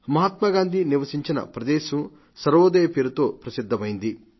మహాత్మాగాంధీ నివసించిన ప్రదేశం సర్వోదయ పేరుతో ప్రసిద్ధమైంది